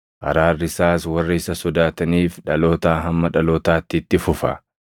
Araarri isaas warra isa sodaataniif dhalootaa hamma dhalootaatti itti fufa.